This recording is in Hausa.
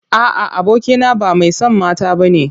A'a, abokina ba mai son mata bane.